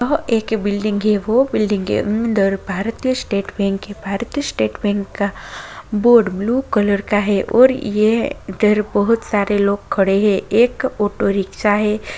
यह एक बिल्डिंग है वो बिल्डिंग के अंदर भारतीय स्टेट बैंक है भारतीय स्टेट बैंक का बोर्ड ब्लू कलर का है और यह इधर बहोत सारे लोग खड़े हैं एक ऑटो रिक्शा है।